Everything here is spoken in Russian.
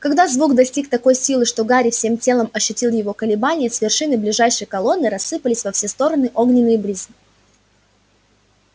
когда звук достиг такой силы что гарри всем телом ощутил его колебания с вершины ближайшей колонны рассыпались во все стороны огненные брызги